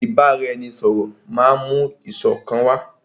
Ìbáraẹnisọ̀rọ̀ máà mú ìṣọ̀kan wá.